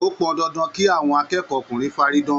O pọn dandan kí àwọn akẹ́kọ̀ọ́ ọkùnrin faridan.